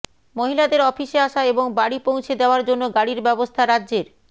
মহিলাদের অফিসে আসা এবং বাড়ি পৌঁছে দেওয়ার জন্য গাড়ির ব্যবস্থা রাজ্যের